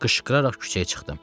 Qışqıraraq küçəyə çıxdım.